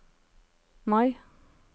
Mai